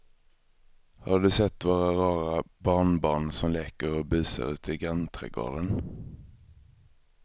Har du sett våra rara barnbarn som leker och busar ute i grannträdgården!